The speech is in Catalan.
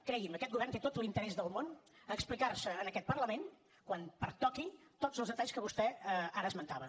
cregui’m aquest govern té tot l’interès del món a explicar en aquest parlament quan pertoqui tots els detalls que vostè ara esmentava